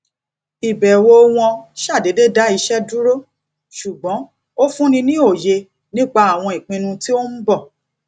ìbẹwò wọn ṣàdédé dá iṣẹ dúró ṣùgbọn ó fúnni ní òye nípa àwọn ìpinnu tó ń bọ